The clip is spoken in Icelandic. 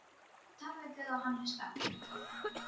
Ég tala við guð og hann hlustar.